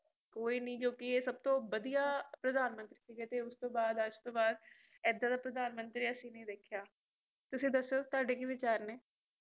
ਕੋਈ ਨਹੀਂ ਇਹ ਸਭਤੋਂ ਵਦੀਆ ਪ੍ਰਧਾਂਟਰੀ ਸਿਗੇ ਤੇ ਉਸਤੋ ਬਾਅਦ ਏਡਾ ਦਾ ਪ੍ਰਧਾਨ ਮੰਤਰੀ ਐਸੀ ਨਹੀਂ ਦੇਖਿਆ ਤੁਸੀ ਦਸੋ ਤੁਹਾਡੇ ਕਿ ਵਿਚਾਰ ਨੇ